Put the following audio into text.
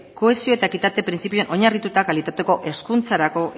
kohesio eta ekitate printzipioan oinarrituta kalitatezko hezkuntzarako